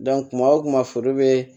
kuma o kuma foro be